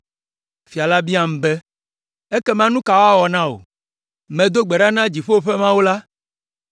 Fia la biam be, “Ekema nu ka woawɔ na wò?” Medo gbe ɖa na dziƒo ƒe Mawu la,